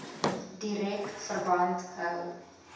direk verband hou